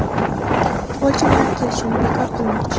futbolchi bilan kelishuvni bekor qilmoqchi.